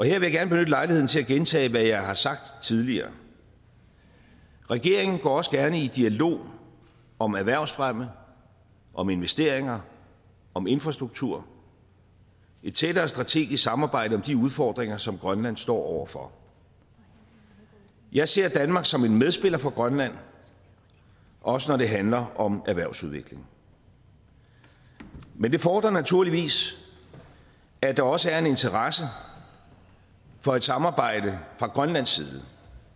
jeg gerne benytte lejligheden til at gentage hvad jeg har sagt tidligere regeringen går også gerne i dialog om erhvervsfremme om investeringer om infrastruktur et tættere strategisk samarbejde om de udfordringer som grønland står over for jeg ser danmark som en medspiller for grønland også når det handler om erhvervsudvikling men det fordrer naturligvis at der også er en interesse for et samarbejde fra grønlands side